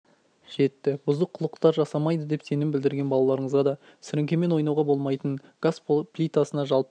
жетті бұзық қылықтар жасамайды деп сенім білдерген балаларыңызға да сіріңкемен ойнауға болмайтынын газ плитасына жалпы